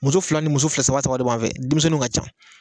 Muso fila ni muso fila saba saba de b'an fɛ denmisɛnw ka ca